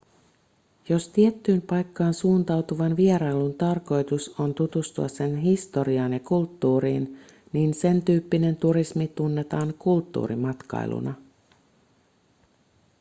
jos tiettyyn paikkaan suuntautuvan vierailun tarkoitus on tutustua sen historiaan ja kulttuuriin niin sentyyppinen turismi tunnetaan kulttuurimatkailuna